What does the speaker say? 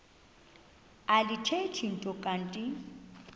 alithethi nto kanti